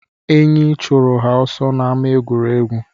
Eyi chụrụ ha ọsọ n'ámá egwuregwu